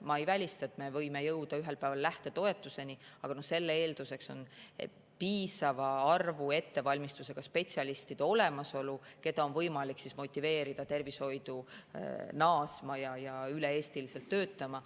Ma ei välista, et me võime jõuda ühel päeval lähtetoetuseni, aga selle eelduseks on piisava arvu ettevalmistusega spetsialistide olemasolu, keda on võimalik motiveerida tervishoidu naasma ja üle Eesti töötama.